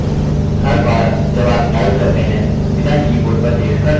हर बार जब आप type करते हैं बिना keyboard पर देख कर type कैसे करें